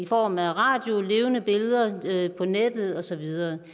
form af radio levende billeder på nettet og så videre